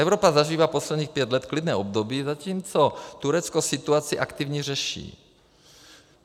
Evropa zažívá posledních pět let klidné období, zatímco Turecko situaci aktivně řeší.